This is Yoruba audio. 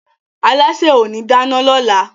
Alásè ò ní dáná lọ́la